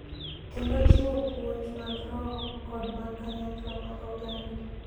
kendo jiwo puonj mag roho kod mag kanyakla mag oganda.